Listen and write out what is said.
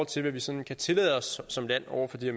til hvad vi sådan kan tillade os som land over for de